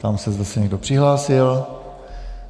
Ptám se, zda se někdo přihlásil.